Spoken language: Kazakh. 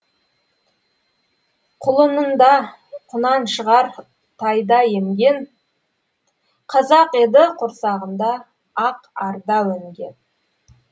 құлынында құнаншығар тайда емген қазақ еді құрсағында ақ арда өнген